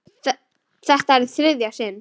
Þetta er í þriðja sinn.